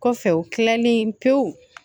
Kɔfɛ u kilalen pewu